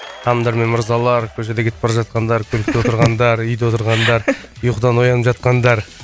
ханымдар мен мырзалар көшеде кетіп бара жатқандар көлікте отырғандар үйде отырғандар ұйқыдан оянып жатқандар